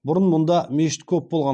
бұрын мұнда мешіт көп болған